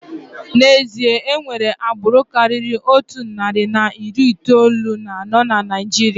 N'ezie, enwere agbụrụ karịrị otu narị na iri itoolu na anọ na Naijiria.